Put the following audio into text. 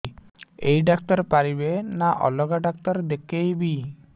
ଏଇ ଡ଼ାକ୍ତର ପାରିବେ ନା ଅଲଗା ଡ଼ାକ୍ତର ଦେଖେଇବି